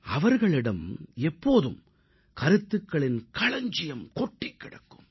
அவர்களிடம் எப்போதும் கருத்துகளின் களஞ்சியம் கொட்டிக் கிடக்கும்